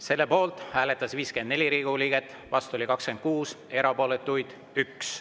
Selle poolt hääletas 54 Riigikogu liiget, vastu oli 26, erapooletuid 1.